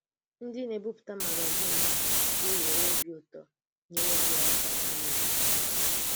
Ndí na-ebipụta magazin a gà-nwèrè obi ùtò ínyèrè gị̀ aka ímè otú àhụ̀.